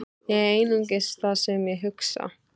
Ég er einungis það sem ég hugsa.